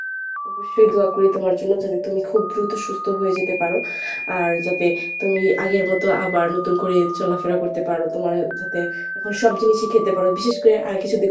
অবশ্যই দোয়া করি তোমার জন্য যাতে তুমি খুব দ্রুতই সুস্থ হয়ে যেতে পারো। আর যাতে তুমি আগের মত আবার নতুন করে চলাফেরা করতে পারো তোমার যাতে এখন সব জিনিসই খেতে পারো বিশেষ করে আহ কিছুদিন